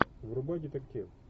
врубай детектив